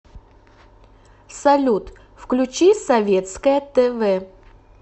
салют включи советское тэ вэ